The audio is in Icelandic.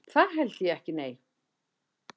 Það held ég ekki nei.